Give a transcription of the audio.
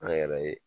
An yɛrɛ ye